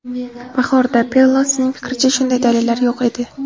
Bahorda, Pelosining fikricha, shunday dalillar yo‘q edi.